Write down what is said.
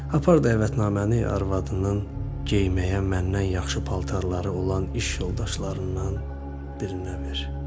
Apar dəvətnaməni arvadının geyinməyə məndən yaxşı paltarları olan iş yoldaşlarından birinə ver.